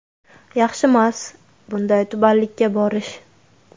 Yaxshimas, bunday tubanlikka borish.